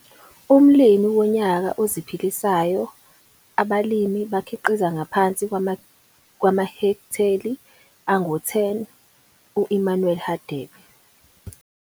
Umlimi Wonyaka Oziphilisayo, abalimi abakhiqiza ngaphansi kwamahekteli angu-10- uEmmanuel Hadebe.